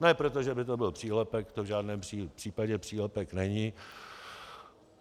Ne protože by to byl přílepek, to v žádném případě přílepek není.